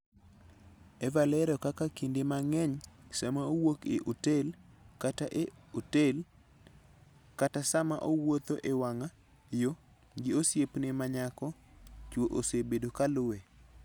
Eva lero kaka kinde mang'eny, sama owuok e otel, kata e otel, kata sama owuotho e wang'a yo gi osiepne ma nyako, chwo osebedo ka luwe.